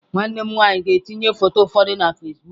Nwanne m nwanyị ga-etinye foto ụfọdụ na Fasịbụk